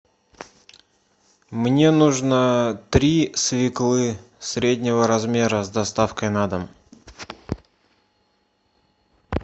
мне нужно три свеклы среднего размера с доставкой на дом